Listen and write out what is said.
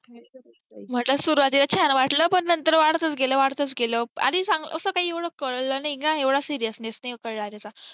म्हंटलं सुरूवातीला छान वाटल पण नंतर वाढतच गेलं वाढतच गेलं आणि असा काही एवढ कळलं नाही ग एवढा seriousness नाही कळलं नाही त्याचा